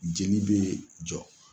Jeli bɛ jɔ.